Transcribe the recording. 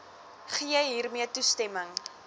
gee hiermee toestemming